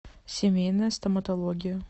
семейная стоматология